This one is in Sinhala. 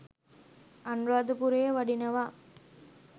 අනුරාධපුරේ වඩිනවා.